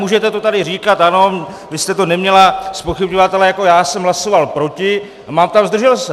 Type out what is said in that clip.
Můžete to tady říkat, ano, vy jste to neměla zpochybňovat - ale jako já jsem hlasoval proti a mám tam zdržel se.